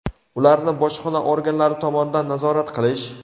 ularni bojxona organlari tomonidan nazorat qilish:.